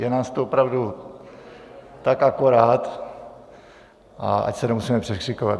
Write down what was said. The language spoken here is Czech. Je nás tu opravdu tak akorát, a ať se nemusíme překřikovat.